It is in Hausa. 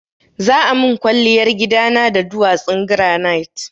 Za a min kwalliyar gidana da duwatsun granite.